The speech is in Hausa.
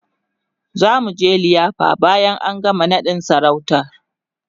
zamuje liyafa bayan an gama naɗin sarautar